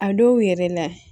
A dɔw yɛrɛ la